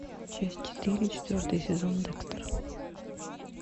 часть четыре четвертый сезон декстер